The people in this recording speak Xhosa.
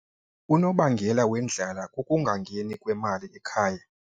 Unobangela wendlala kukungangeni kwemali ekhaya.